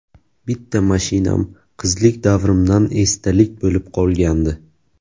Bitta mashinam qizlik davrimdan esdalik bo‘lib qolgandi.